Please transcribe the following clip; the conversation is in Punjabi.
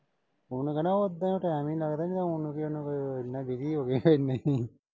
ਉਨ੍ਹਾਂ ਕਹਿਣਾ ਓਦਾਂ ਟਾਇਮ ਈ ਨਈਂ ਲੱਗਦਾ। ਨਈਂ ਆਉਣ ਨੂੰ ਕੀਆ ਉਨ੍ਹਾਂ ਨੂੰ, ਐਨਾ ਹੋ ਗਏ ਏਦਾਂ ਈ।